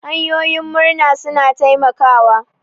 Hanyoyin murna suna taimakawa.